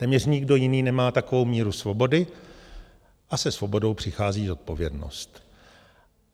Téměř nikdo jiný nemá takovou míru svobody a se svobodou přichází zodpovědnost.